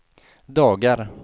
dagar